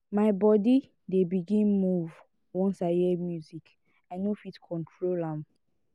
my bodi dey begin move once i hear music i no fit control am.